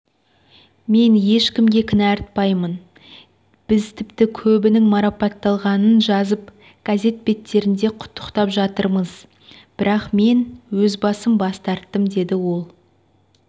мен ешкімге кінә артпаймын біз тіпті көбінің марапатталғанын жазып газет беттерінде құттықтап жатырмыз бірақ мен өзім бас тарттым деді ол